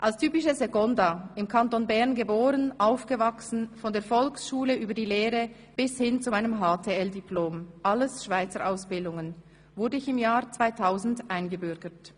Als typische Seconda, im Kanton Bern geboren, aufgewachsen, von der Volksschule, über die Lehre bis zu meinem HTL-Diplom, alles Schweizer Ausbildungen, wurde ich im Jahr 2000 eingebürgert.